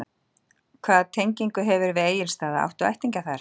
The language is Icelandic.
Hvaða tengingu hefurðu við Egilsstaða, áttu ættingja þar?